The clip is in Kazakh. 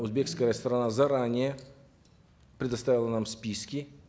узбекская сторона заранее предоставила нам списки